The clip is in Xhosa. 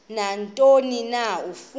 nantoni na afuna